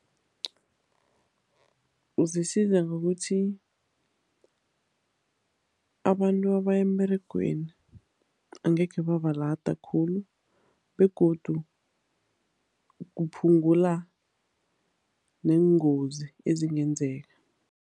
Zisiza ngokuthi abantu abaya emberegweni angekhe babalada khulu begodu kuphungula neengozi ezingenzeka.